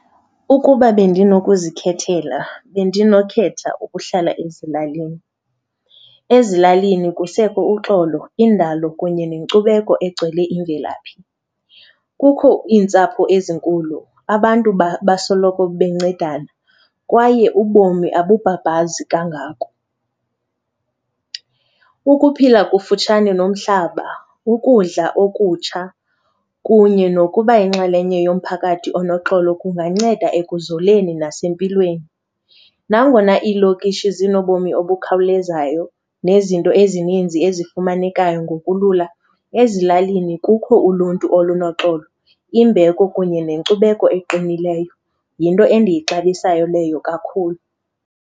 Ukuba bendinokuzikhethela bendinokhetha ukuhlala ezilalini. Ezilalini kusekho uxolo, indalo kunye nenkcubeko egcwele imvelaphi. Kukho iintsapho ezinkulu, abantu basoloko bencedana kwaye ubomi abubhabhazi kangako. Ukuphila kufutshane nomhlaba, ukudla okutsha kunye nokuba yinxalenye yomphakathi unoxolo kunganceda ekuzoleni nasempilweni. Nangona iilokishi zinobomi obukhawulezayo nezinto ezininzi ezifumanekayo ngokulula, ezilalini kukho uluntu olunoxolo, imbeko kunye nenkcubeko eqinileyo. Yinto endiyixabisayo leyo kakhulu.